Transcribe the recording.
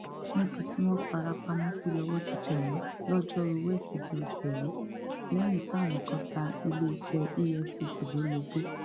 níbi tí wọn farapamọ sí lọwọ ti tẹ wọn lọjọruú wẹsídẹẹ ọsẹ yìí lẹyìn táwọn kan ta iléeṣẹ efcc lólobó